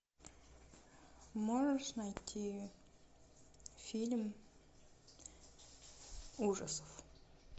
можешь найти фильм ужасов